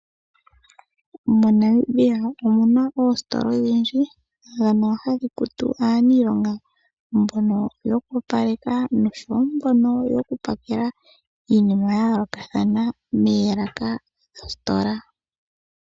Monamibia omuna oostola odhindji ndhono hadhi kutu aaniilonga mbono yokopaleka noshowo mbono yokupakela iinima yaayolokathana melaka dhostola.